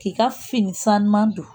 K'i ka fini san ɲuman don